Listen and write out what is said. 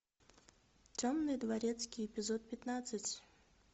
темный дворецкий эпизод пятнадцать